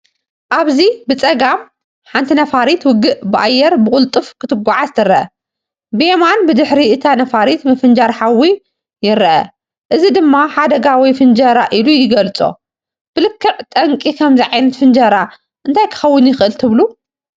ኣብዚ ብጸጋም፡ ሓንቲ ነፋሪት ውግእ ብኣየር ብቕልጡፍ ክትጓዓዝ ትርአ። ብየማን ብድሕሪ እታ ነፋሪት ምፍንጃር ሓዊ ይርአ። እዚ ድማ ሓደጋ ወይ ፍንጀራ ኢሉ ይገልጾ። ብልክዕ ጠንቂ ከምዚ ዓይነት ፍንጀራ እንታይ ክኸውን ይኽእል ትብሉ?